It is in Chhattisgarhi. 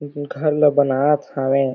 ए तीर घर ला बनात हावे।